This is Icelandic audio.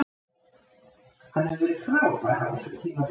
Hann hefur verið frábær á þessu tímabili.